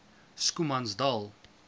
schoemansdal